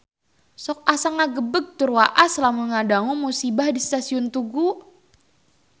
Sok asa ngagebeg tur waas lamun ngadangu musibah di Stasiun Tugu